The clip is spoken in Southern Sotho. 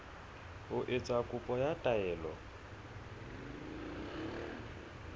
ho etsa kopo ya taelo